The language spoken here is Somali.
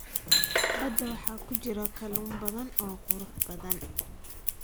Badda waxaa ku jira kalluun badan oo qurux badan.